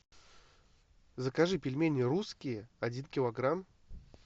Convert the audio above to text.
закажи пельмени русские один килограмм